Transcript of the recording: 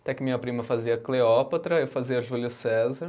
Até que minha prima fazia Cleópatra, eu fazia Júlio César.